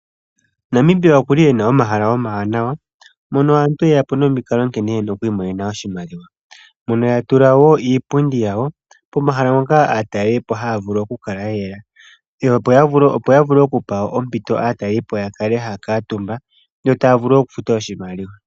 Namibia okuli ena omahala oma wanawa mono aantu yeya po nomikalo nkene yena oku imonena oshimaliwa. Mpono ya tula wo iipundi yawo pomahala ngoka aatalelipo haya vulu oku kala yeya. Opo ya vule okupa ompito aatalelo ya kale haya kuutumba yo taya vulu okufuta oshimaliwa.